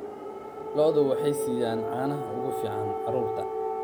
Lo'du waxay siiyaan caanaha ugu fiican carruurta.